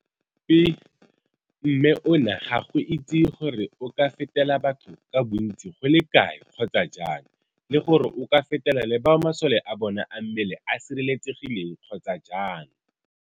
Pi, mme ona ga go itsiwe gore o ka fetela batho ka bontsi go le kae kgotsa jang le gore o ka fetela le bao masole a bona a mmele a sireletsegileng kgotsa jang.